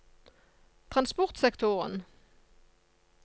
transportsektoren